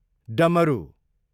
डमरु